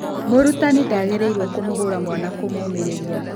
Mũrutani ndagĩrĩirwo kũmũhũra mwana kũmũũmĩria.